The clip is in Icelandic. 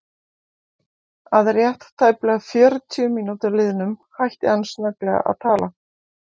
Að rétt tæplega fjörutíu mínútum liðnum hætti hann snögglega að tala.